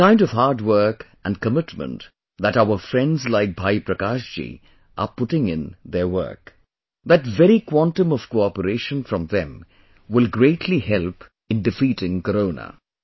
The kind of hard work and commitment that our friends like Bhai Prakash ji are putting in their work, that very quantum of cooperation from them will greatly help in defeating Corona